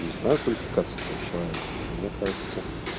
не знаю квалификации этого человека но мне кажется